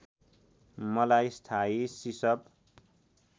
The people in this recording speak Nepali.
मलाई स्थायी सिसप